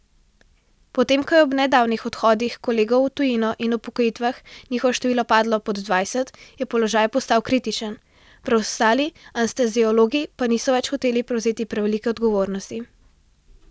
Potem ko je ob nedavnih odhodih kolegov v tujino in upokojitvah njihovo število padlo pod dvajset, je položaj postal kritičen, preostali anesteziologi pa niso več hoteli prevzeti prevelike odgovornosti.